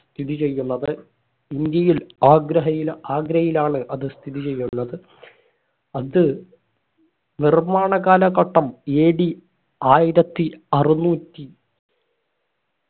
സ്ഥിതി ചെയ്യുന്നത് ഇന്ത്യയിൽ ആഗ്രഹയിൽ ആഗ്രയിലാണ് അത് സ്ഥിതി ചെയ്യുന്നത് അത് നിർമ്മാണ കാലഘട്ടം AD ആയിരത്തി അറുന്നൂറ്റി